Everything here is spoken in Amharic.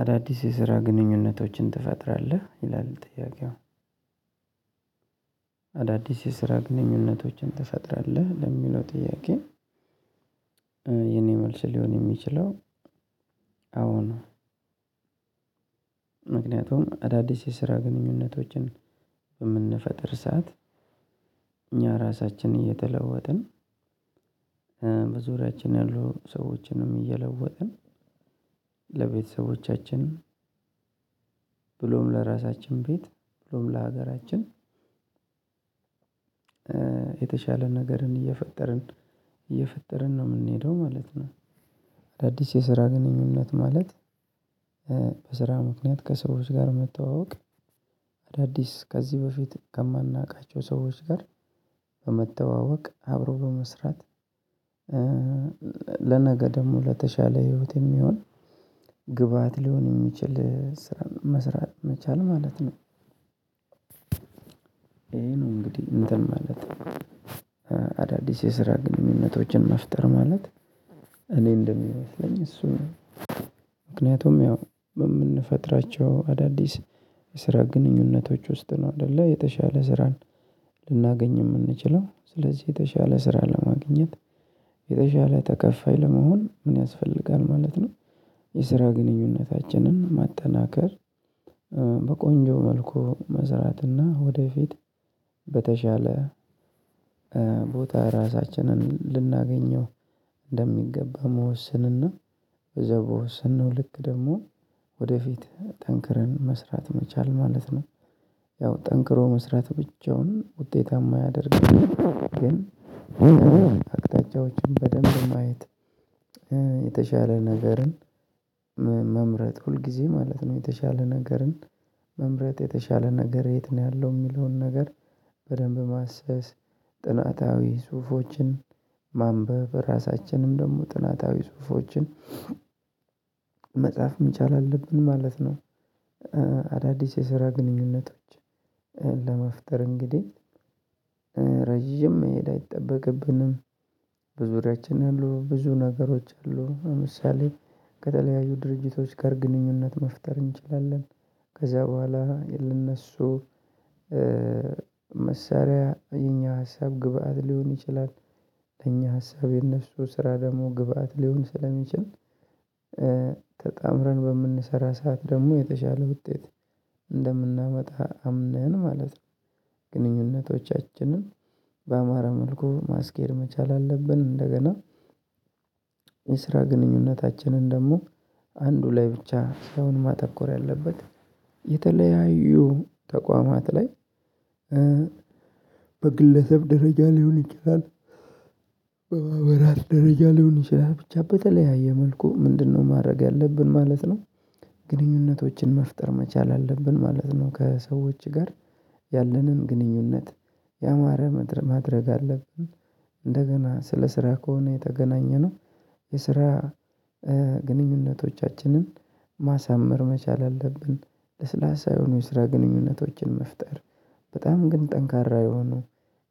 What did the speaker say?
አዳዲስ የስራ ግንኙነቶችን ትፈጥራለህ ይላል ጥያቄው? አዳዲስ የስራ ግንኙነቶችን ትፈጥራለህ ለሚለው ጥያቄ። የኔ መልስ ሊሆን የሚችለው። አዎን። ምክንያቱም አዳዲስ የስራ ግንኙነቶችን የምንፈጥር ሰዓት። እኛ ራሳችንን እየተለወጥን በዙሪያችን ያሉ ሰዎችንም እየለወጥን ለቤተሰቦቻችን ብሎም ለራሳችን ቤት ብሎም ለሀገራችን። የተሻለ ነገርን እየፈጠርን እየፈጠርን ነው የምንሄደው ማለት ነው። አዳዲስ የስራ ግንኙነት ማለት በስራ ምክንያት ከሰዎች ጋር መተዋወቅ አዳዲስ ከዚህ በፊት ከማናውቃቸው ሰዎች ጋር በመተዋወቅ አብሮ በመስራት። ለነገ ደግሞ ለተሻለ ህይወት የሚሆን ግብአት ሊሆን የሚችል ስራ መስራት መቻል ማለት ነው። ይሄ ነው እንግዲህ እንትን ማለት። አዳዲስ የስራ ግንኙነቶችን መፍጠር ማለት እኔ እንደሚመስለኝ እሱ ነው። ምክንያቱም ያው የምንፈጥራቸው አዳዲስ የስራ ግንኙነቶች ውስጥ ነው አይደለ የተሻለ ስራን ልናገኝ የምንችለው። ስለዚህ የተሻለ ስራ ለማግኘት የተሻለ ተከፋይ ለመሆን ምን ያስፈልጋል ማለት ነው? የስራ ግንኙነታችንን ማጠናከር በቆንጆ መልኩ መስራትና ወደፊት በተሻለ ቦታ ራሳችንን ልናገኝው እንደሚገባ መወሰንና በዛ በወሰነው ልክ ደግሞ ወደፊት ጠንክረን መስራት መቻል ማለት ነው። ያው ጠንክሮ መስራት ብቻውን ውጤታማ አያደርግም። ግን አቅጣጫዎችን በደንብ ማየት የተሻለ ነገርን መምረጥ ሁልጊዜ ማለት ነው። የተሻለ ነገርን መምረጥ የተሻለ ነገር የት ነው ያለው የሚለውን ነገር? በደንብ ማሰስ ጥናታዊ ፁፎችን ማንበብ ራሳችንም ደግሞ ጥናታዊ ፁፎችን መጻፍ መቻል አለብን ማለት ነው። አዳዲስ የስራ ግንኙነቶች ለመፍጠር እንግዲህ ረጅም መሄድ አይጠበቅብንም። በዙሪያችን ያሉ ብዙ ነገሮች አሉ ለምሳሌ ከተለያዩ ድርጅቶች ጋር ግንኙነት መፍጠር እንችላለን። ከዛ በኋላ ለእነሱ መሳሪያ የኛ ሀሳብ ግብአት ሊሆን ይችላል። የኛ ሀሳብ የነሱ ስራ ደግሞ ግብአት ሊሆን ስለሚችል ተጣምረን በምንሰራ ሰዓት ደግሞ የተሻለ ውጤት እንደምናመጣ አምነን ማለት ነው። ግንኙነቶቻችንን በአማር መልኩ ማስኬድ መቻል አለብን። እንደገና የስራ ግንኙነታችንን ደግሞ አንዱ ላይ ብቻ ሳይሆን ማተኮር ያለበት የተለያዩ ተቋማት ላይ በግለሰብ ደረጃ ሊሆን ይችላል። በማህበራት ደረጃ ሊሆን ይችላል ብቻ በተለያየ መልኩ ምንድነው ማድረግ ያለብን ማለት ነው? ግንኙነቶችን መፍጠር መቻል አለብን ማለት ነው። ከሰዎች ጋር ያለንን ግንኙነት ያማረ ማድረግ አለብን። እንደገና ስለ ስራ ከሆነ የተገናኘነው የስራ ግንኙነቶቻችንን ማሳመር መቻል አለብን። ለስላሳ የሆኑ የስራ ግንኙነቶችን መፍጠር በጣም ግን ጠንካራ የሆኑ